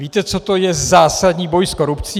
Víte, co to je zásadní boj s korupcí?